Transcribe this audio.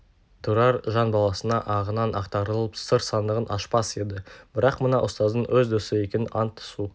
тұрар жан баласына ағынан ақтарылып сыр сандығын ашпас еді бірақ мына ұстаздың өз досы екенін ант-су